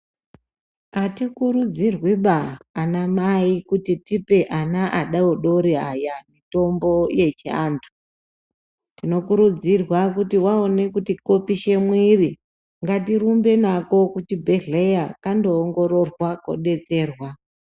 Atikurudzirwiba anamai kuti tipe ana adodori aya mitombo yechiantu, tinokurudzirwa kuti waone kuti kopishe mwiri ngatirumbe nako kuchibhedhleya kandoongororwa kudetserwa.